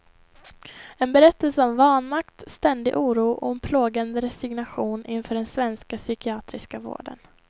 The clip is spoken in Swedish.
En berättelse om vanmakt, ständig oro och en plågande resignation inför den svenska psykiatriska vården.